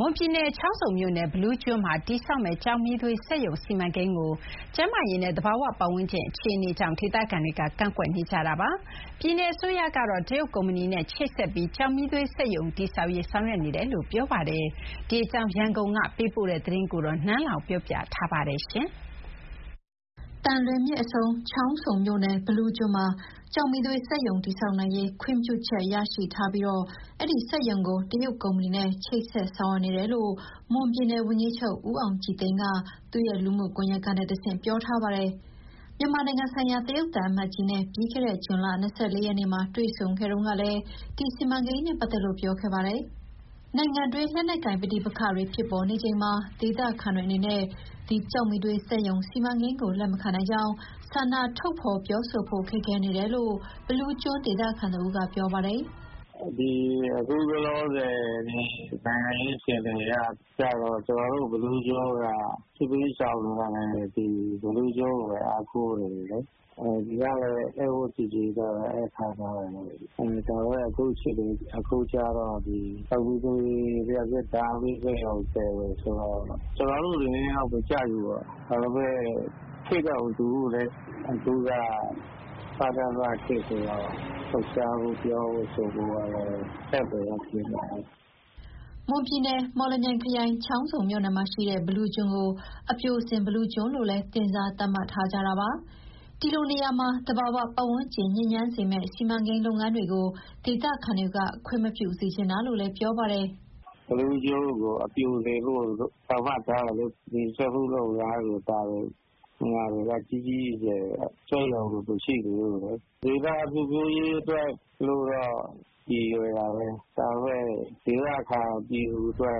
မွန်ပြည်နယ်၊ ချောင်းဆုံမြို့နယ် မှာ တည်ဆောက်မယ့် ကျောက်မီးသွေးစက်ရုံ စီမံကိန်းကို ကျန်းမာရေးနဲ့ သဘာဝပတ်ဝန်းကျင်အခြေအနေကြောင့် ဒေသခံတွေက ကန့်ကွက်နေကြပါတယ်။ ပြည်နယ်အစိုးရကတော့ တရုတ်ကုမ္ပဏီနဲ့ ချိတ်ဆက်ပြီး ကျောက်မီးသွေးစက်ရုံ တည်ဆောက်ရေး ဆောင်ရွက်နေတယ်လို့ ပြောထားပါတယ်။ ဒီအကြောင်း ရန်ကုန်ကနေ ပေးပို့ထားတဲ့သတင်းကို နန်းလောင်ဝ်က တင်ပြပေးထားပါတယ်။ သံလွင်မြစ်အဆုံး ချောင်းဆုံမြို့နယ် မှာ ကျောက်မီးသွေးစက်ရုံ တည်ဆောက်နိုင်ရေး ခွင့်ပြုချက်ရရှိထားပြီး အဲဒီစက်ရုံကို တရုတ်ကုမ္ပဏီနဲ့ ချိတ်ဆက်ဆောင်ရွက်နေတယ်လို့ မွန်ပြည်နယ်ဝန်ကြီးချုပ် ဦးအောင်ကြည်သိန်းက သူ့ရဲ့လူမှုကွန်ရက်ကနေတဆင့် ပြောထားပါတယ်။ မြန်မာနိုင်ငံဆိုင်ရာ တရုတ်သံအမတ်ကြီးနဲ့ ပြီးခဲ့တဲ့ ဇွန်လ ၂၄ ရက်နေ့မှာ တွေ့ဆုံခဲ့တုန်းကလည်း ဒီစီမံကိန်းနဲ့ပတ်သက်လို့ ပြောခဲ့ပါတယ်။ နိုင်ငံတွင်း လက်နက်ကိုင်ပဋိပက္ခတွေ ဖြစ်ပေါ်နေချိန်မှာ ဒေသခံတွေအနေနဲ့ ဒီကျောက်မီးသွေးစက်ရုံစီမံကိန်းကို လက်မခံနိုင်ကြောင်းဆန္ဒထုတ်ဖော် ပြောဆိုဖို့ ခက်ခဲနေတယ်လို့ ဘီလူးကျွန်းဒေသခံတဦးက ပြောပါတယ်။ "အခုလောလောဆယ် နိုင်ငံရေးအခြေအနေအရ ကျနော်တို့ဘီလူးကျွန်းက စစ်ဘေးရှောင်လာသူတွေဆို ဒီဘီလူးကျွန်းကိုပဲ အားကိုးနေရတာ။ ဒီကလည်း ဧည့်ဝတ်ကျေကျေနဲ့ ဧည့်ခံထားကြတာ။ ဒါပေမဲ့ အခုကျတော့ ကျောက်မီးသွေး လျှပ်စစ်ဓာတ်အားပေးစက်ရုံတည်မယ်ဆိုတော့ ကျနော်တို့အနေနဲ့ကတော့ မကြိုက်ဘူးပေါ့။ ဒါပေမဲ့ခေတ်က မတူဘူးလေ။ အခုက စကစခေတ်ဆိုတော့ လှုပ်ရှားဖို့၊ ပြောဆိုဖို့ကတော့ နည်းနည်းခက်နေတယ်။" မွန်ပြည်နယ်၊ မော်လမြိုင်ခရိုင်၊ ချောင်းဆုံမြို့နယ်မှာရှိတဲ့ ဘီလူးကျွန်းကို အပျိုစင်ဘီလူးကျွန်းလို့လည်း တင်စားသတ်မှတ်ထားကြတာပါ။ ဒီလိုနေရာမှာ သဘာဝပတ်ဝန်းကျင် ညစ်ညမ်းစေမယ့် စီမံကိန်းလုပ်ငန်းတွေကို ဒေသခံတွေက ခွင့်မပြုစေချင်တာလို့ ပြောပါတယ်။ "ဘီလူးကျွန်းကို အပျိုစင်လို့ သူတို့သတ်မှတ်ထားတာလေ။ ဒီစက်မှုလုပ်ငန်းတွေ ဘာတွေက နေရာကြီးကြီးမားမား စက်ရုံတွေမရှိသေးဘူး။ သူတို့ကတော့ ဒေသဖွံ့ဖြိုးရေးအတွက် ရည်ရွယ်တာပဲ။ ဒါပေမဲ့ ဒေသခံပြည်သူအတွက်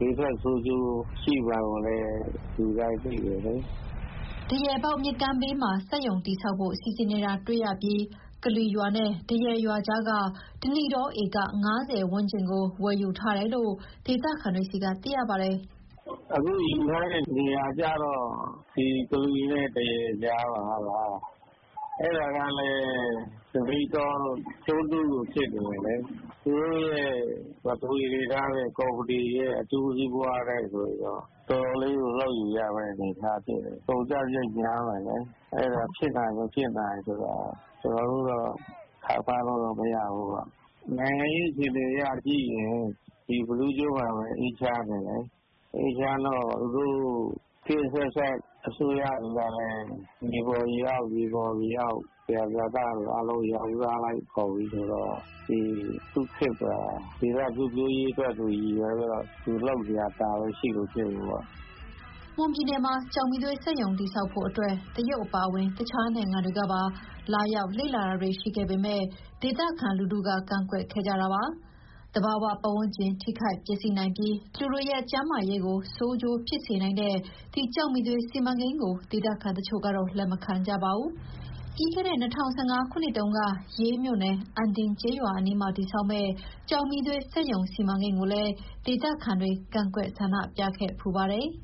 ဘေးထွက်ဆိုးကျိုး ရှိမှာကိုလည်း လူတိုင်းသိတယ်။" ဒရယ်ပေါက်မြစ်ကမ်းဘေးမှာ စက်ရုံတည်ဆောက်ဖို့ စီစဉ်နေတာတွေ့ရပြီး ကလွီရွာနဲ့ ဒရယ်ရွာကြားက ဓနိတောဧက ၅၀ ဝန်းကျင်ကို ဝယ်ယူထားတယ်လို့ ဒေသခံတွေဆီက သိရပါတယ်။ "အခုယူထားတဲ့နေရာက ကလွီနဲ့ဒရယ်ကြားမှာ မဟုတ်လား။ အဲဒါကလည်း ဓနိတောကျွန်းစုလို ဖြစ်နေတယ်လေ။ သူတို့ရဲ့ ပထဝီအနေအထားနဲ့ ကော်မတီရဲ့အကျိုးစီးပွားနဲ့ဆိုရင်တော့ တော်တော်လေးကို လှုပ်ယူရမယ့် အနေအထားဖြစ်နေတယ်။ ကုန်ကျစရိတ်များတယ်။ အဲဒါဖြစ်နိုင် မဖြစ်နိုင်ဆိုတာ ကျနော်တို့တော့ ခန့်မှန်းလို့မရဘူးပေါ့။ နိုင်ငံရေးအခြေအနေအရကြည့်ရင် ဒီဘီလူးကျွန်းမှာပဲ အေးချမ်းတယ်လေ။ အေးချမ်းတော့ သူတို့ခေတ်အဆက်ဆက်အစိုးရတွေကလည်း မြေပေါ်မြေအောက်၊ ရေပေါ်ရေအောက် သယံဇာတအားလုံး ရောင်းစားလိုက်ကုန်ပြီဆိုတော့ သူ့ခေတ်မှာ ဒေသဖွံ့ဖြိုးရေးအတွက် သူရည်ရွယ်ပြီးတော့ သူလုပ်စရာ ဒါပဲရှိလို့ ဖြစ်မှာပေါ့။" မွန်ပြည်နယ်မှာ ကျောက်မီးသွေးစက်ရုံ တည်ဆောက်ဖို့အတွက် တရုတ်အပါအဝင် တခြားနိုင်ငံတွေကပါ လာရောက်လေ့လာတာတွေ ရှိခဲ့ပေမယ့် ဒေသခံလူထုက ကန့်ကွက်ခဲ့ကြပါတယ်။ သဘာဝပတ်ဝန်းကျင် ထိခိုက်ပျက်စီးနိုင်ပြီး လူတွေရဲ့ ကျန်းမာရေးဆိုးကျိုးဖြစ်စေနိုင်တဲ့ ဒီကျောက်မီးသွေးစီမံကိန်းကို ဒေသခံတချို့ကတော့ လက်မခံကြပါဘူး။ ပြီးခဲ့တဲ့ ၂၀၁၅ ခုနှစ်တုန်းက ရေးမြို့နယ်၊ အံဒင်ကျေးရွာအနီးမှာ တည်ဆောက်မယ့် ကျောက်မီးသွေးစက်ရုံ စီမံကိန်းကိုလည်း ဒေသခံတွေကန့်ကွက် ဆန္ဒပြခဲ့ဖူးပါတယ်။